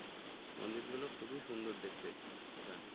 মন্দিরগুলো খুবই সুন্দর দেখতে ওখানে